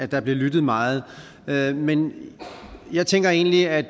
der blev lyttet meget meget men jeg tænker egentlig at